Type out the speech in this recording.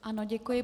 Ano, děkuji.